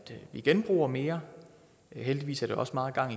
vi genbruger mere heldigvis er der også meget gang